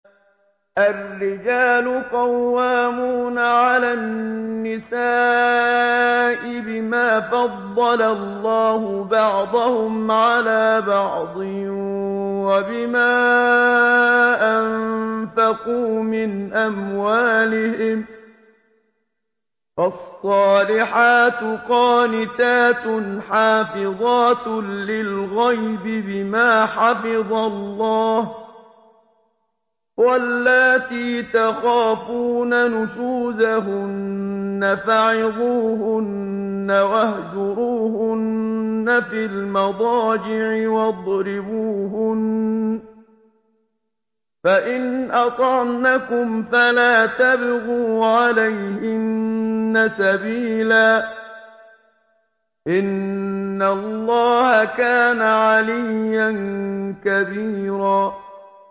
الرِّجَالُ قَوَّامُونَ عَلَى النِّسَاءِ بِمَا فَضَّلَ اللَّهُ بَعْضَهُمْ عَلَىٰ بَعْضٍ وَبِمَا أَنفَقُوا مِنْ أَمْوَالِهِمْ ۚ فَالصَّالِحَاتُ قَانِتَاتٌ حَافِظَاتٌ لِّلْغَيْبِ بِمَا حَفِظَ اللَّهُ ۚ وَاللَّاتِي تَخَافُونَ نُشُوزَهُنَّ فَعِظُوهُنَّ وَاهْجُرُوهُنَّ فِي الْمَضَاجِعِ وَاضْرِبُوهُنَّ ۖ فَإِنْ أَطَعْنَكُمْ فَلَا تَبْغُوا عَلَيْهِنَّ سَبِيلًا ۗ إِنَّ اللَّهَ كَانَ عَلِيًّا كَبِيرًا